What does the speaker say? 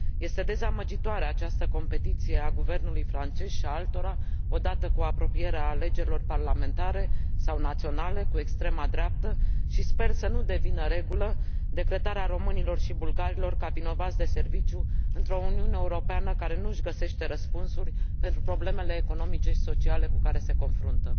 Este dezamăgitoare această competiție a guvernului francez și a altora, odată cu apropierea alegerilor parlamentare sau naționale, cu extrema dreaptă, și sper să nu devină regulă decretarea românilor și bulgarilor ca vinovați de serviciu într o uniune europeană care nu și găsește răspunsuri pentru problemele economice și sociale cu care se confruntă.